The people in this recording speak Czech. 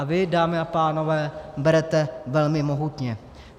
- A vy, dámy a pánové, berete velmi mohutně.